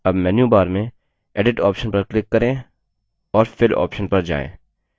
अब menu bar में edit option पर click करें और fill option पर जाएँ